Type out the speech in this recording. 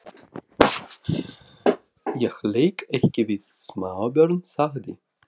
Ég leik ekki við smábörn sagði